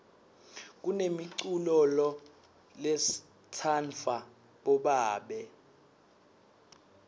kunemiculolo letsanvwa bobabe